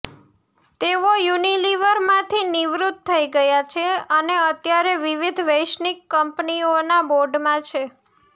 તેઓ યુનિલિવરમાંથી નિવૃત્ત થઈ ગયા છે અને અત્યારે વિવિધ વૈશ્વિક કંપનીઓના બોર્ડમાં છે